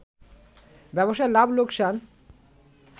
ব্যবসায় লাভ লোকসান